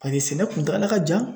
Paseke sɛnɛ kuntagala ka jan